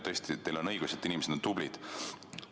Tõesti, teil on õigus, et inimesed on tublid.